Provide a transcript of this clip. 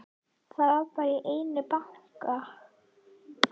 Það var allt í einu bankað.